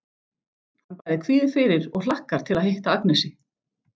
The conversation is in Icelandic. Hann bæði kvíðir fyrir og hlakkar til að hitta Agnesi.